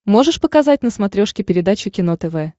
можешь показать на смотрешке передачу кино тв